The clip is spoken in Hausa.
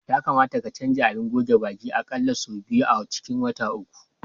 Ya kamata ka canza abin goge baki a ƙalla sau biyu a cikin wata uku.